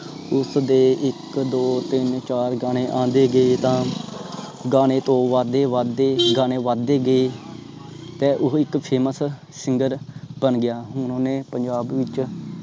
ਉਸਦੇ ਇਕ ਦੋ ਤਿੰਨ ਚਾਰ ਗਾਣੇ ਆਂਦੇ ਗਏ ਤਾਂ ਗਾਣੇ ਤੋਂ ਬੱਧ ਦੇ ਬੱਧ ਦੇ ਗਾਣੇ ਬੱਧ ਦੇ ਗਏ ਤੇ ਓਹੋ ਇੱਕ FAMOUS SINGER ਬਣ ਗਿਆ ਹੁਣ ਉਹ ਪੰਜਾਬ ਵਿਚ